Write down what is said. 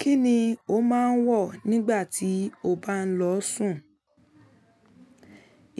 Kíni o máa ń wọ̀ nígbà tí o bá ń lọọ sùn?